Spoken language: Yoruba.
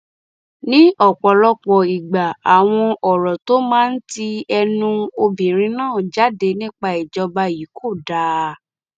ní ọpọlọpọ ìgbà àwọn ọrọ tó máa ń ti ẹnu obìnrin náà jáde nípa ìjọba yìí kò dáa